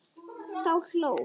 Þá hló